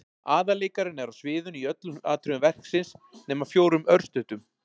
Aðalleikarinn er á sviðinu í öllum atriðum verksins nema fjórum örstuttum.